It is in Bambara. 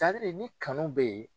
ni kanu bɛ yen.